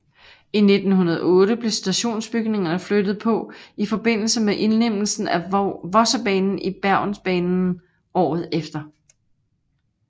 I 1908 blev stationsbygningerne flyttet på i forbindelse med indlemmelsen af Vossebanen i Bergensbanen året efter